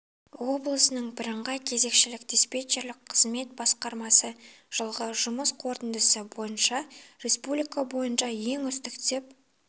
облысының бірыңғай кезекшілік диспетчерлік қызмет басқармасы жылғы жұмыс қорытындысы бойынша республика бойынша ең үздік деп